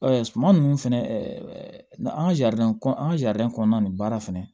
suman nunnu fɛnɛ ɛ ɛ an ga kɔn an ka ja kɔnɔna na nin baara fɛnɛ